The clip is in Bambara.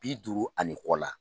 Bi duuru ani kɔ la.